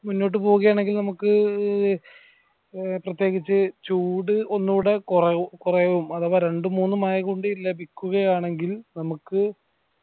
മുന്നോട്ടു പോവുകയാണെങ്കിൽ നമ്മക് ഏർ പ്രത്യേകിച്ച് ചൂട് ഒന്നൂടെ കൊറ കൊറയും അഥവാ രണ്ടു മൂന്നു മഴ കൂടി ലഭിക്കുകയാണെങ്കിൽ നമക്